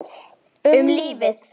Um lífið.